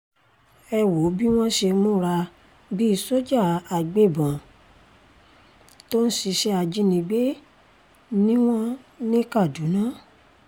ẹ wo bí wọ́n ṣe múra bíi sójà agbébọ̀n tó ń ṣiṣẹ́ ajínigbé ni wọ́n ní kaduna